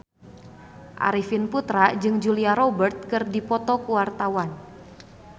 Arifin Putra jeung Julia Robert keur dipoto ku wartawan